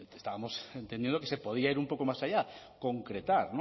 decir que estábamos entendiendo que se podía ir un poco más allá concretar